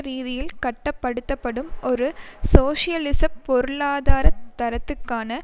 ரீதியில் கட்டப்படுத்தப்படும் ஒரு சோசலிச பொருளாதாரதரத்துக்கான